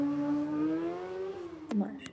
Bróðir þinn var mjög sjúkur maður.